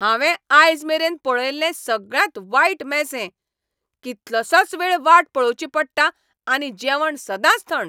हांवें आयजमेरेन पळयल्लें सगळ्यांत वायट मॅस हें. कितलोसोच वेळ वाट पळोवची पडटा आनी जेवण सदांच थंड.